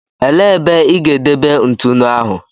Elee ebe ị ga-edebe ntụnụ ahụ?